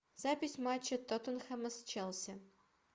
запись матча тоттенхэма с челси